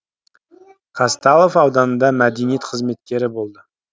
казталов ауданында мәдениет қызметкері болды